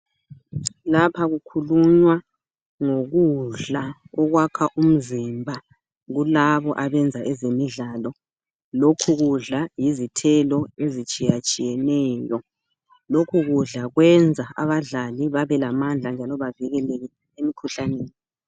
Lapha kukhulunywa ngokudla okwakha umzimba kulabo abenza ezemidlalo. Lokhu kudala yizithelo ezitshiyatshiyeneyo. Lokhu kudala kwenza abadlali babe lamandla njalo bavikeleke emkhuhlaneni.